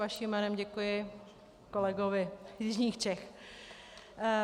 Vaším jménem děkuji kolegovi z jižních Čech.